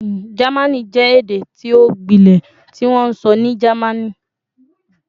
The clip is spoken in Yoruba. Jẹmánì jẹ ede ti o gbilẹ tiwonso ni Germany